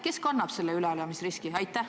Kes kannab selle üleelamisriski?